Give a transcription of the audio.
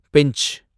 bench